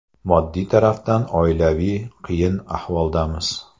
Moddiy tarafdan oilaviy qiyin ahvoldamiz.